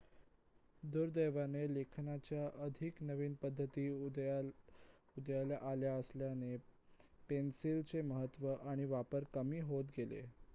दुर्दैवाने लेखनाच्या अधिक नवीन पद्धती उदयाला आल्या असल्याने पेन्सिलचे महत्व आणि वापर कमी होत गेले